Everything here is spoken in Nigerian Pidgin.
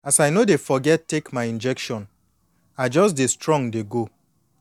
as i no dey forget take my injection i just dey strong dey go